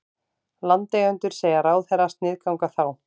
Landeigendur segja ráðherra sniðganga þá